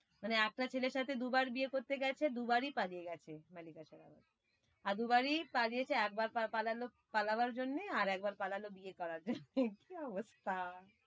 মানে একটা ছেলের সাথে দু বার বিয়ে করতে গেছে দু বারই পালিয়ে গেছে মল্লিকা শেরাওয়াত। আর দু বারই পালিয়েছে একবার পালালো, পালাবার জন্যে আর একবার পালালো বিয়ে করার জন্যে কি অবস্থা।